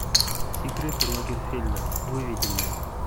секреты лагерфельда выведи мне